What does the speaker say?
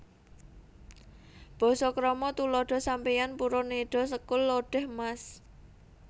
Basa KramaTuladha Sampeyan purun nedha sekul lodèh Mas